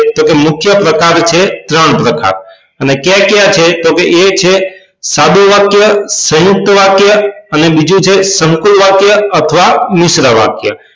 તો મુખ્ય પ્રકાર છે ત્રણ પ્રકાર અને કયા કયા છે તો એ છે સાદું વાક્ય સયુંકત વાક્ય અને બીજું છે સંકૂલ વાક્ય અથવા મિશ્ર વાક્ય